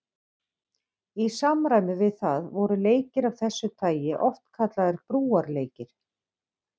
Í samræmi við það voru leikir af þessu tagi oft kallaðir brúarleikir.